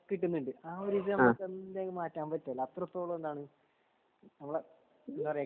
കിട്ടുന്നുണ്ട് ആ ഒരു ഇത് നമ്മക് മാറ്റാൻ പാറ്റോലോ അത്രത്തോളം എന്താണ് നമ്മളെ എന്താ പറയാ